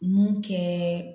Mun kɛ